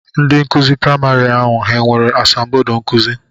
Ndị nkụzi praịmarị ahụ ha nwere asambodo nkụzi?